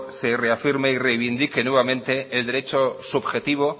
se reafirme y revindique nuevamente el derecho subjetivo